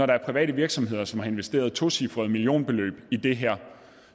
der er private virksomheder som har investeret tocifrede millionbeløb i det her